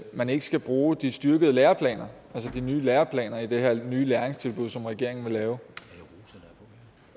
man ikke skal bruge de styrkede læreplaner altså de nye læreplaner i det her nye læringstilbud som regeringen vil lave